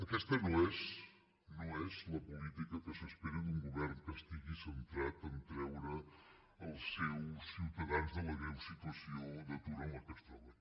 aquesta no és no és la política que s’espera d’un govern que estigui centrat a treure els seus ciutadans de la greu situació d’atur en què es troben